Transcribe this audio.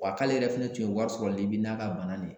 Wa k'ale yɛrɛ fɛnɛ tun ye wari sɔrɔ Libi n'a ka bana de ye